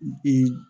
Bi